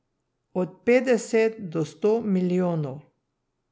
Od petdeset do sto milijonov.